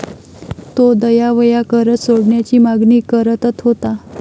तो दयावया करत सोडण्याची मागणी करतत होता.